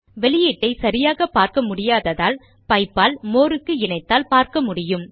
output ஐ சரியாக பார்க்க முடியாததால் பைப் ஆல் மோர் க்கு இணைத்தால் பார்க்க முடியும்